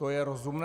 To je rozumné?